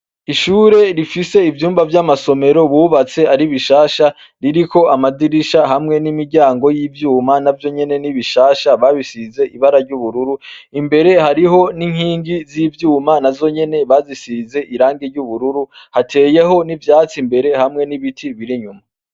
Ishure rifise ivyumba vy'amasomero bubatse ari bishasha. Ririko amadirisha hamwe n'imiryango y'ivyuma n'avyo nyene n'ibishasha. Babisize ibara ry'ubururu. Imbere hariho n'inkingi z'ivyuma n'azo nyene bazisize irangi ry'ubururu . Hateyeho n'ivyatsi imbere hamwe n'ibiti biri inyuma.